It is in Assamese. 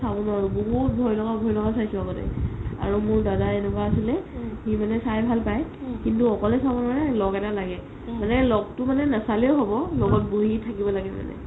চাব নোৱাৰো বহুত ভই লগা ভই লগা চাইছো আগতে আৰু মোৰ দাদাই এনেকুৱা আছিলে সি মানে চাই ভাল পাই কিন্তু অকলে চাব নোৱাৰে ল'গ এটা লাগে মানে ল'গটো মানে নাচালেও হ'ব লগত বহি থাকিব লাগে মানে